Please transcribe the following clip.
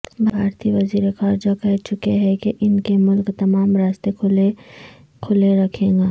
بھارتی وزیر خارجہ کہہ چکے ہیں کہ ان کے ملک تمام راستے کھلے رکھے گا